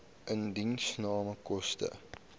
indiensname koste